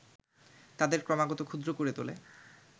তাদের ক্রমাগত ক্ষুদ্র করে তোলে